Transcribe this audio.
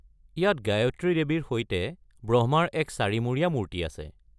ইয়াত গায়ত্ৰী দেৱীৰ সৈতে ব্ৰহ্মাৰ এক চাৰি-মূৰীয়া মূৰ্তি আছে।